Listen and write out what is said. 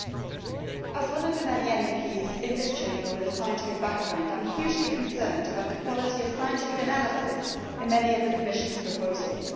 Mr President, as one of the many MEPs in this Chamber with a scientific background, I am hugely concerned about the quality of scientific analyses in many of the Commission's proposals.